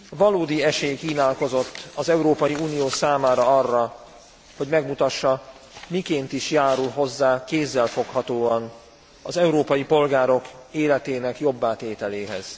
Valódi esély kínálkozott az Európai Unió számára arra, hogy megmutassa, miként is járul hozzá kézzelfoghatóan az európai polgárok életének jobbá tételéhez.